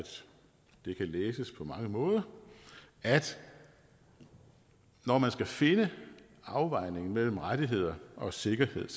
det læses på mange måder at når man skal finde afvejningen mellem rettigheder og sikkerhed